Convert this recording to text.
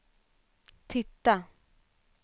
titta